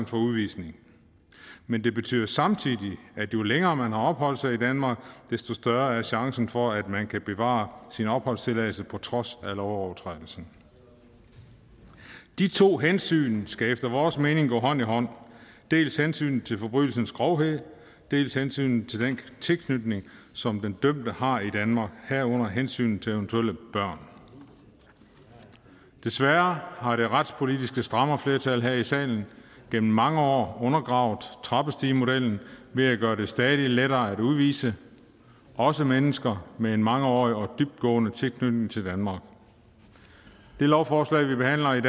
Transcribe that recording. for udvisning men det betyder samtidig at jo længere man har opholdt sig i danmark desto større er chancen for at man kan bevare sin opholdstilladelse på trods af lovovertrædelsen de to hensyn skal efter vores mening gå hånd i hånd dels hensynet til forbrydelsens grovhed dels hensynet til den tilknytning som den dømte har i danmark herunder hensynet til eventuelle børn desværre har det retspolitiske strammerflertal her i salen gennem mange år undergravet trappestigemodellen ved at gøre det stadig lettere at udvise også mennesker med en mangeårig og dybtgående tilknytning til danmark det lovforslag vi behandler i